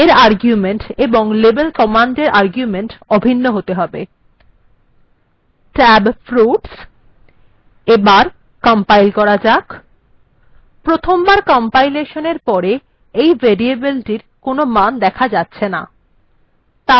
এর আর্গুমেন্ট এবং লেবেল কমান্ডএর আর্গুমেন্ট অভিন্ন হতে হবে tab:fruits এবার কম্পাইল্ করা যাক প্রথম কম্পাইলেশনএর পরে এই variable এর কোনো মান দেখা যাচ্ছে না